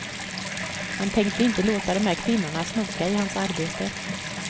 Han tänkte inte låta de här kvinnorna snoka i hans arbete.